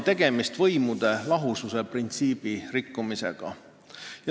Tegemist on võimude lahususe printsiibi rikkumisega.